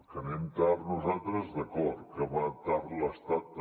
que anem tard nosaltres d’acord que va tard l’estat també